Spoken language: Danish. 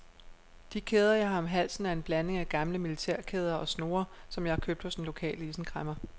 De kæder jeg har om halsen er en blanding af gamle militærkæder og snore, som jeg har købt hos den lokale isenkræmmer.